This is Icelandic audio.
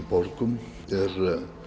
borgum er